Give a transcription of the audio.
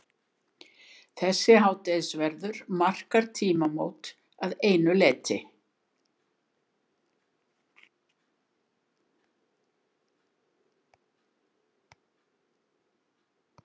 Þessi hádegisverður markar tímamót að einu leyti.